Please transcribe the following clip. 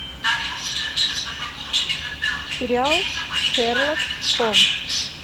сериал шерлок холмс